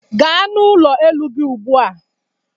Gaa n'ụlọ elu ugbu a!